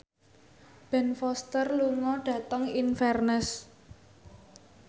Ben Foster lunga dhateng Inverness